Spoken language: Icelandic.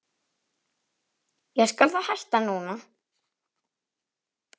Ég skal þá hætta núna.